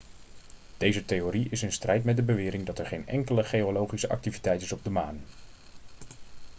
deze theorie is in strijd met de bewering dat er geen enkele geologische activiteit is op de maan